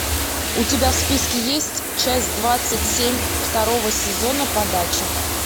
у тебя в списке есть часть двадцать семь второго сезона подача